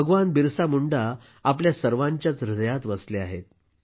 भगवान बिरसा मुंडा आपल्या सर्वांच्याच हृदयात वसले आहेत